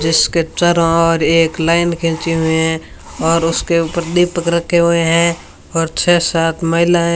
जिसके चारो ओर एक लाइन खींची हुई है और उसके ऊपर दीपक रखे हुए हैं और छे सात महिलाएं --